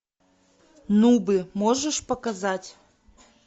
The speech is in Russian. нубы можешь показать